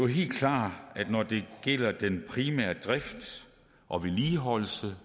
helt klart at når det gælder den primære drift og vedligeholdelse